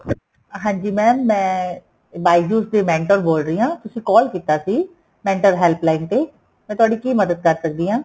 ਹਾਂਜੀ mam ਮੈਂ byju's ਦੀ mentor ਬੋਲ ਰਹੀ ਹਾਂ ਤੁਸੀਂ call ਕੀਤਾ ਸੀ mentor help line ਤੇ ਮੈਂ ਤੁਹਾਡੀ ਕੀ ਮਦਦ ਕ਼ਰ ਸਕਦੀ ਆ